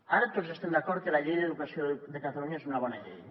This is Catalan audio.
ara tots estem d’acord que la llei d’educació de catalunya és una bona llei